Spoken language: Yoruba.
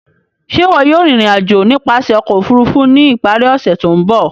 Ṣe iwọ yóò rin irin-ajo nipasẹ ọkọ ofurufu ni ipari ose to nbọ?